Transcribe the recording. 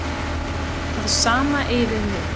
Það sama eigi við nú.